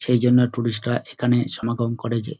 সেইজন্য টুরিস্ট -রা এখানে সমাগম করে যে।